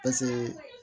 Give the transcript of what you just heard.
Paseke